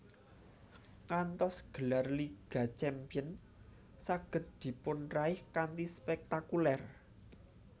Ngantos gelar Liga Champions saged dipunraih kanthi spektakuler